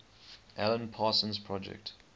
alan parsons project